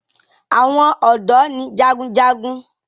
àwọn odò ní jágunjágun.